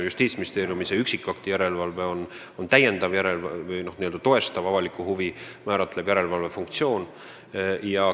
Justiitsministeeriumi tehtaval üksikakti järelevalvel on, võiks öelda, avalikku huvi toestav funktsioon.